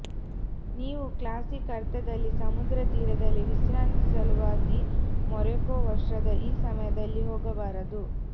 ನೀವು ಕ್ಲಾಸಿಕ್ ಅರ್ಥದಲ್ಲಿ ಸಮುದ್ರತೀರದಲ್ಲಿ ವಿಶ್ರಾಂತಿ ಸಲುವಾಗಿ ಮೊರೊಕೊ ವರ್ಷದ ಈ ಸಮಯದಲ್ಲಿ ಹೋಗಬಾರದು